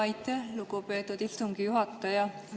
Aitäh, lugupeetud istungi juhataja!